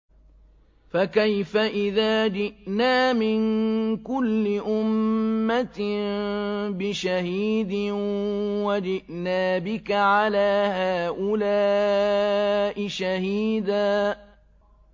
فَكَيْفَ إِذَا جِئْنَا مِن كُلِّ أُمَّةٍ بِشَهِيدٍ وَجِئْنَا بِكَ عَلَىٰ هَٰؤُلَاءِ شَهِيدًا